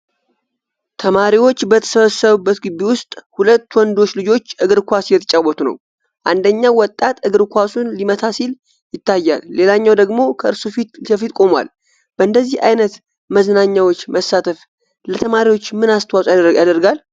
ተማሪዎች በተሰበሰቡበት ግቢ ውስጥ፣ ሁለት ወንዶች ልጆች እግር ኳስ እየተጫወቱ ነው። አንደኛው ወጣት እግር ኳሱን ሊመታ ሲል ይታያል፣ ሌላኛው ደግሞ ከእርሱ ፊት ለፊት ቆሟል። በእንደዚህ አይነት መዝናኛዎች መሳተፍ ለተማሪዎች ምን አስተዋጽኦ ያደርጋል?